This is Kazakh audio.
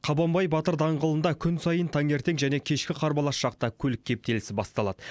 қабанбай батыр даңғылында күн сайын таңертең және кешкі қарбалас шақта көлік кептелісі басталады